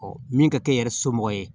min ka kɛ yɛrɛ somɔgɔ ye